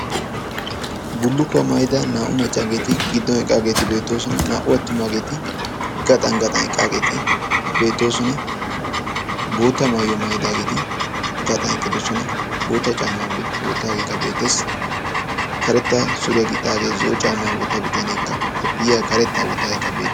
Bullukkuwaa maayida naa"u maccaageeti giddon eqqaageeti beettoosona naa"u attumaageeti gaxan gaxan eqqaageeti beettoosona. bootta maayyo maayidaageeti gaxan eqqidosona bootta caamaa oottaageekka beetessi karetta suriyaa gixxaagee zoo caamaa ootta bitaneekka koppiya karetta woottaageekka beei